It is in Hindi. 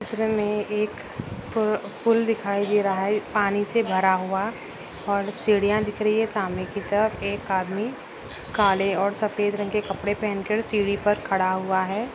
चित्र में एक पुल दिखाई दे रहा है पानी से भरा हुआ और सीढियां दिख रही है सामने की तरफ एक आदमी काले और सफेद रंग के कपड़े पहन कर सीढ़ी पर खड़ा हुआ है।